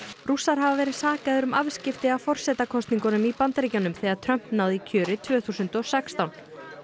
rússar hafa verið sakaðir um afskipti af forsetakosningum í Bandaríkjunum þegar Trump náði kjöri tvö þúsund og sextán